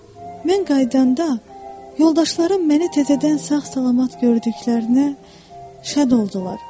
Mən qayıdanda yoldaşlarım mənə təzədən sağ-salamat gördüklərinə şad oldular.